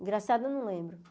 Engraçado, eu não lembro.